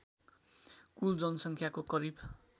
कुल जनसङ्ख्याको करिब